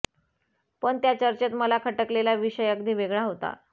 पण त्या चर्चेत मला खटकलेला विषय अगदी वेगळा होता